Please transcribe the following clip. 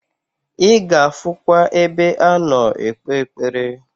I ga afukwa ebe ano ekpe ekpere.